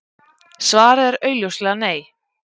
Svarið er augljóslega Nei.